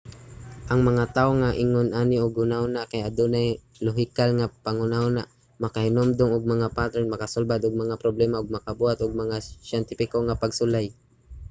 ang mga tawo nga ingon ani og huna-huna kay adunay lohikal nga panghuna-huna makahinumdum og mga pattern makasulbad og mga problema ug makabuhat og mga siyentipiko nga pagsulay